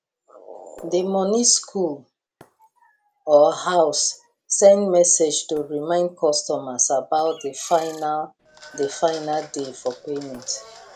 the money school or house send message to remind customers about the final the final day for payment